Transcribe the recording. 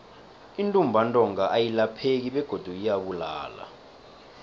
intumbantonga ayilapheki begodu iyabulala